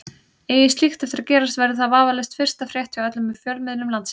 Eigi slíkt eftir að gerast verður það vafalaust fyrsta frétt hjá öllum fjölmiðlum landsins.